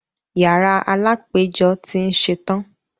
Yàrá alápẹjọ́ tí ń ṣẹtan.